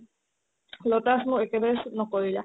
lotus মোৰ একেবাৰে suit নকৰিলে